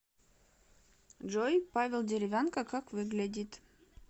джой павел деревянко как выглядит